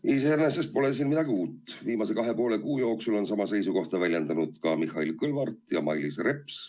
Iseenesest pole siin midagi uut: viimase kahe ja poole kuu jooksul on sama seisukohta väljendanud ka Mihhail Kõlvart ja Mailis Reps.